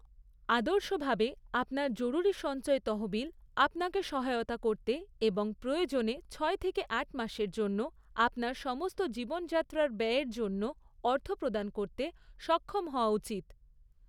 আদর্শভাবে, আপনার জরুরী সঞ্চয় তহবিল আপনাকে সহায়তা করতে এবং প্রয়োজনে ছয় থেকে আট মাসের জন্য আপনার সমস্ত জীবনযাত্রার ব্যয়ের জন্য অর্থ প্রদান করতে সক্ষম হওয়া উচিত।